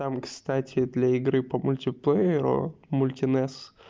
там кстати для игры по мультиплееру мультинесс